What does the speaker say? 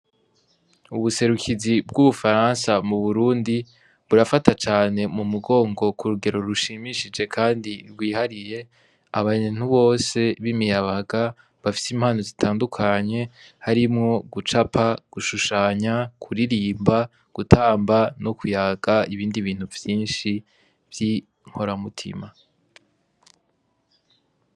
Ubuserukizi bw'ubufaransa mu burundi burafata cane mu mugongo ku rugero rushimishije, kandi rwihariye abanye ntubose bimiyabaga bafise impano zitandukanye harimwo gucapa gushushanya kuririmba gutamba no kuyaga ibindi bintu vye inshi vy'i nkoramutima.